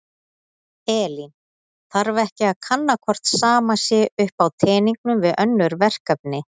Elín: Þarf ekki að kanna hvort sama sé upp á teningnum við önnur verkefni?